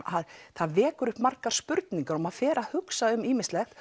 það vekur upp margar spurningar og maður fer að hugsa um ýmislegt